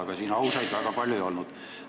Aga siin ausaid väga palju ei olnud.